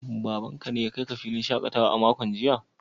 Babanka ne ya kai ka filin shakatawa a makon jiya?